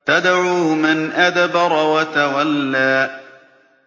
تَدْعُو مَنْ أَدْبَرَ وَتَوَلَّىٰ